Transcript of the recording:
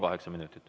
Kaheksa minutit.